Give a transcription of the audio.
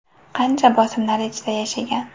Qancha bosimlar ichida yashagan.